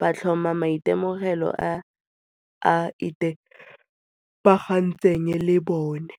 ba tlhoma maitemogelo a a itebagantsweng le bone.